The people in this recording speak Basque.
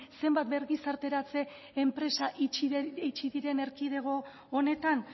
zenbat birgizarteratze enpresa itxi diren erkidego honetan